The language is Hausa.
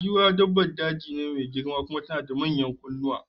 Giwa dabbar jeji ce mai girma kuma tana da manyan kunnuwa